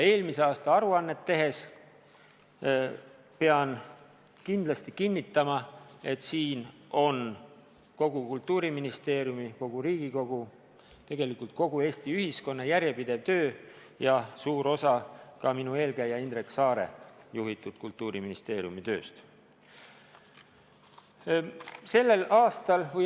Eelmise aasta aruande taga, pean kindlasti kinnitama, on kogu Kultuuriministeeriumi, kogu Riigikogu ja tegelikult kogu Eesti ühiskonna järjepidev töö ja suur osa ka minu eelkäija Indrek Saare juhitud Kultuuriministeeriumi tööst.